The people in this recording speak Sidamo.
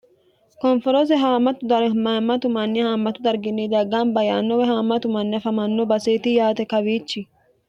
konforoose haamtdmammatu manni haammatu darginni daggaan ba yaannowe haamatu manni afamanno baseeti yaate kawiichi